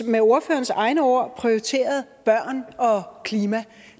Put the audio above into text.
med ordførerens egne ord prioriteret børn og klima